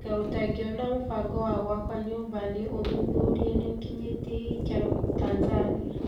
Kaĩ utangĩiona mũbango wa gwaka nyũmba cia ũthuthuria niũkinyĩtie gĩkĩro Tanzania?